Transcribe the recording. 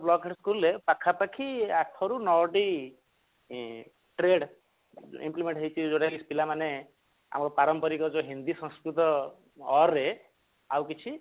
block head school ରେ ପାଖାପାଖି ଆଠ ରୁ ନ ଟି trade implement ହେଇଛି ବୋଧେ ପିଲାମାନେ ଆମର ପାରମ୍ପରିକ ଯୋଉ ହିନ୍ଦୀ ସଂସ୍କୃତ or ରେ ଆଉ କିଛି